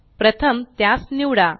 प्रथम त्यास निवडा